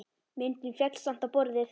Myndin féll samt á borðið.